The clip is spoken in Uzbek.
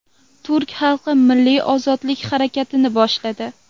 Turk xalqi milliy ozodlik harakatini boshladi.